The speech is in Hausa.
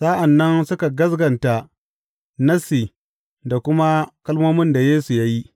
Sa’an nan suka gaskata Nassi da kuma kalmomin da Yesu ya yi.